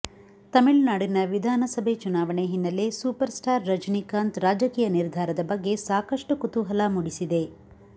ತಮಿಳುನಾಡಿನ ವಿಧಾನಸಭೆ ಚುನಾವಣೆ ಹಿನ್ನಲೆ ಸೂಪರ್ ಸ್ಟಾರ್ ರಜನಿಕಾಂತ್ ರಾಜಕೀಯ ನಿರ್ಧಾರದ ಬಗ್ಗೆ ಸಾಕಷ್ಟು ಕುತೂಹಲ ಮೂಡಿಸಿದೆ